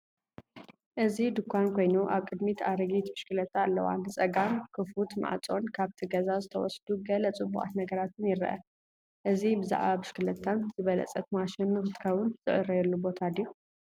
እዚ ድኳን ኮይኑ፡ ኣብ ቅድሚት ኣረጊት ብሽክለታ ኣለዋ። ንጸጋም ክፉት ማዕጾን ካብቲ ገዛ ዝተወስዱ ገለ ጽቡቓት ነገራትን ይርአ። እዚ ብዛዕባ ብሽክለታን ዝበለጸት ማሽን ንኽትከውን ዝዕረየሉ ቦታ ድዩ?